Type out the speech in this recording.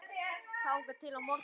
þangað til á morgun?